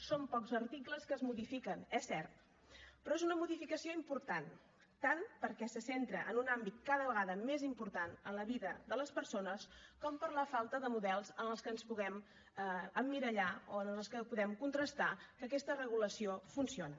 són pocs articles que es modifiquen és cert però és una modificació important tant perquè se centra en un àmbit cada vegada més important en la vida de les persones com per la falta de models en els que ens puguem emmirallar o en els que puguem contrastar que aquesta regulació funciona